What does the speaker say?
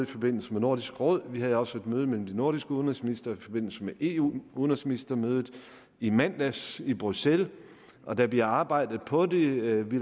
forbindelse med nordisk råd og vi havde også et møde mellem de nordiske udenrigsministre i forbindelse med eu udenrigsministermødet i mandags i bruxelles og der bliver arbejdet på det vi